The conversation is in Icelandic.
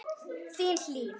Þín, Hlín.